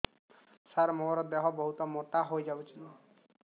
ସାର ମୋର ଦେହ ବହୁତ ମୋଟା ହୋଇଯାଉଛି